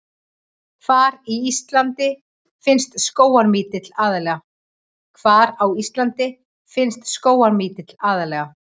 Hvar á Íslandi finnst skógarmítill aðallega?